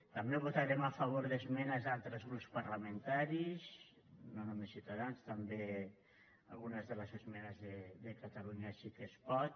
també votarem a favor d’esmenes d’altres grups parlamentaris no només ciutadans també algunes de les esmenes de catalunya sí que es pot